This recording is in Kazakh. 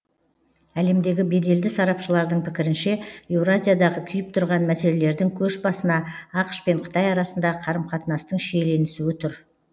әлемдегі беделді сарапшылардың пікірінше еуразиядағы күйіп тұрған мәселелердің көшбасына ақш пен қытай арасындағы қарым қатынастың шиеленісуі тұр